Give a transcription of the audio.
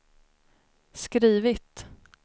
skrivit